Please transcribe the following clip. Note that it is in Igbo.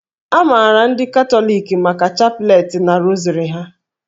A maara ndị Katọliki maka chapleti na rosary ha